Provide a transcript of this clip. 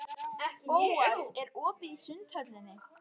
Bóas, er opið í Sundhöllinni?